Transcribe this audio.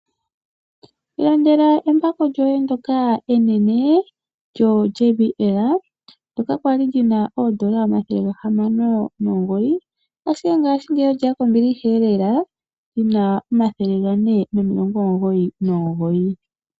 Ilandela embako lyoye ndyoka enene lyoJBL. Ndyoka kwali lina omathele oodola gahamano nomugoyi ashike ngaashingeyi olyeya kombiliheelela lina omathele gane nomilongo omugoyi nomugoyi.